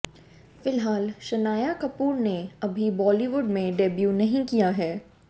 फ़िलहाल शनाया कपूर ने अभी बॉलीवुड में डेब्यू नही किया है